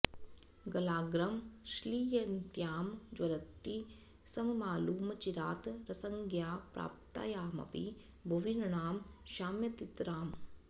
गलाग्रं श्लिष्यन्त्यां ज्वलति सममामूलमचिरात् रसज्ञां प्राप्तायामपि भुवि नृणां शाम्यतितराम्